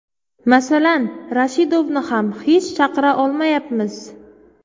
Masalan, Rashidovni ham hech chaqira olmayapmiz.